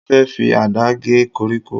Mo fẹ́ fi Àdá gé koríko.